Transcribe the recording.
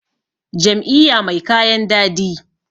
jam`iyya mai kayan dadi